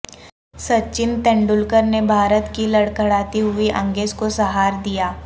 سچن تندولکر نے بھارت کی لڑکھڑاتی ہوئی اننگز کو سہار دیا